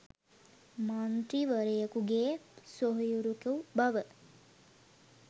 මන්ත්‍රීවරයකුගේ සොහොයුරකු බව